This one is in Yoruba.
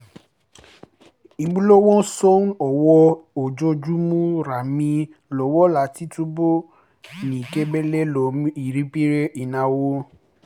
ìmúlọwọ́nṣọ́n owó ojoojúmọ́ ràn mí lọ́wọ́ láti túbọ̀ ní igbẹ́kẹ̀lé lórí ipinnu ináwó